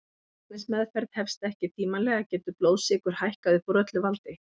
Ef læknismeðferð hefst ekki tímanlega getur blóðsykur hækkað upp úr öllu valdi.